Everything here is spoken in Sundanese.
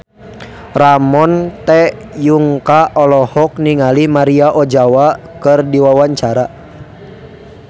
Ramon T. Yungka olohok ningali Maria Ozawa keur diwawancara